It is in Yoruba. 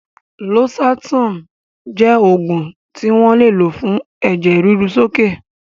Losartan jẹ́ oògùn tí wọ́n ń lò fún ẹ̀jẹ̀ ríru sókè